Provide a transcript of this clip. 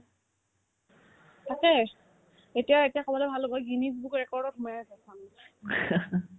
তাকে এতিয়া এতিয়া ক'বলৈ ভাল হ'ব এই গীনিচ বুকৰ ৰেৰ্কড'ত সোমাই আছে চাবি